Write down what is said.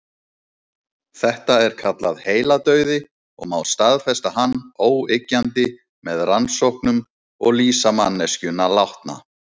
Þetta er kallað heiladauði og má staðfesta hann óyggjandi með rannsóknum og lýsa manneskjuna látna.